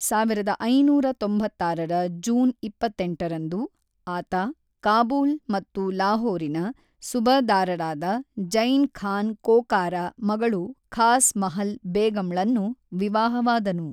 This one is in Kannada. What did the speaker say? ಸಾವಿರದ ಐನೂರ ತೊಂಬತ್ತಾರರ ಜೂನ್ ಇಪ್ಪತ್ತೆಂಟರಂದು, ಆತ ಕಾಬೂಲ್‌ ಮತ್ತು ಲಾಹೋರಿನ ಸುಬಃದಾರರಾದ ಜೈ಼ನ್ ಖಾನ್ ಕೋಕಾರ ಮಗಳು ಖಾಸ್ ಮಹಲ್ ಬೇಗಂಳನ್ನು ವಿವಾಹವಾದನು.